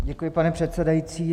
Děkuji, pane předsedající.